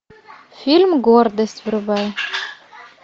фильм гордость врубай